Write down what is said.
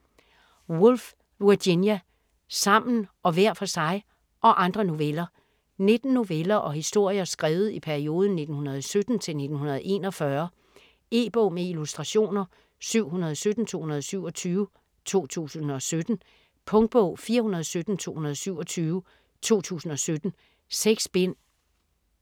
Woolf, Virginia: Sammen og hver for sig: - og andre noveller 19 noveller og historier skrevet i perioden 1917-1941. E-bog med illustrationer 717227 2017. Punktbog 417227 2017. 6 bind.